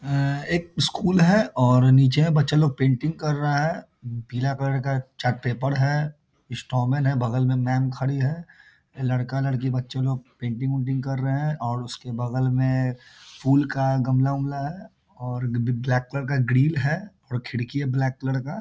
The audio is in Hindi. एक स्कूल है और नीचे बच्चे लोग पेंटिंग कर रहा हैं पीला कलर का चार्ट पेपर है स्टोर मेन है बगल में मेम खड़ी है लड़का-लड़की बच्चे लोग पेंटिंग -उन्टिंग कर रहे हैं और उसके बगल में फूल का गमला-उमला है और ब्लैक कलर का ग्रिल है और खिड़की है ब्लैक कलर का ।